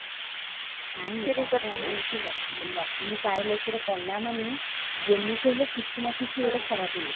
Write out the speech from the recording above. ରାଜା ଆମର ଏଠି କଲାମାନେ ଯେମିତି ହେଲେ କିଛି ନା କିଛି ଗୋଟେ ଖରାପ ହଉଛି